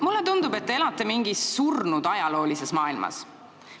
Mulle tundub, et te elate mingis surnud ajaloolises maailmas.